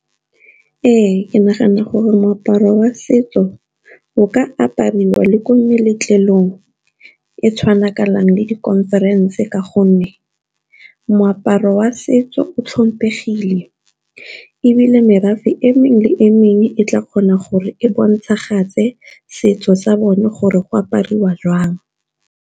Ee, ke nagana gore moaparo wa setso o ka apariwa le ko meletlong e tshwanakanang le di-conference ka gonne moaparo wa setso o tlhomphegile, ebile merafe e mengwe le e mengwe e tla kgona gore e bontshagatse setso sa bone gore go apariwa jwang.